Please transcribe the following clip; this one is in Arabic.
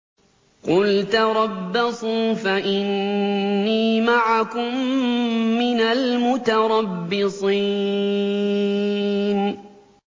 قُلْ تَرَبَّصُوا فَإِنِّي مَعَكُم مِّنَ الْمُتَرَبِّصِينَ